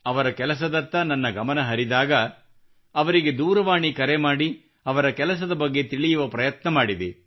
ಅವರ ಕೆಲಸದತ್ತ ನನ್ನ ಗಮನ ಹರಿದಾಗ ಅವರಿಗೆ ದೂರವಾಣಿ ಕರೆ ಮಾಡಿ ಅವರ ಕೆಲಸದ ಬಗ್ಗೆ ತಿಳಿಯುವ ಪ್ರಯತ್ನ ಮಾಡಿದೆ